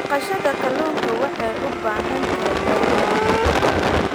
Dhaqashada kalluunka waxay u baahan tahay balli weyn.